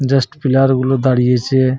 Just player -গুলো দাঁড়িয়েছে ।